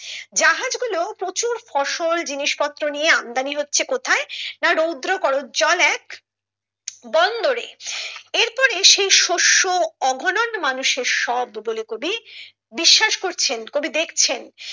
জাহাজ গুলো প্রচুর ফসল জিনিসপত্র নিয়ে আমদানি হচ্ছে কোথায় না রৌদ্র করোজ্জ্বল এক বন্দরে এরপরে সেই শস্য অঘনন্দ মানুষের সব বলে কবি বিশ্বাস করছেন কবি দেখছেন